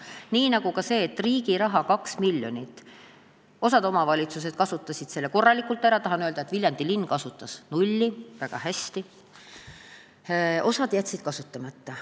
Nii oli ka selle riigi rahaga, 2 miljoniga, mille osa omavalitsusi kasutas korralikult ära – tahan öelda, et Viljandi linn kasutas nulli, väga hästi –, osa jättis kasutamata.